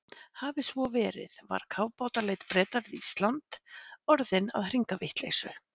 Hafi svo verið, var kafbátaleit Breta við Ísland orðin að hringavitleysu.